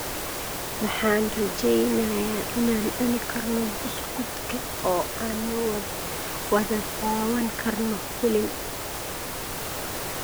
Waxaan rajeynayaa inaan cuni karno buskudka oo aan wada daawan karno filim